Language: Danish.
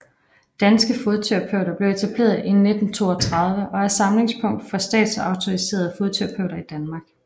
Danske Fodterapeuter blev etableret i 1932 og er samlingspunkt for statsautoriserede fodterapeuter i Danmark